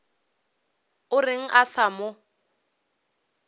o reng a sa mo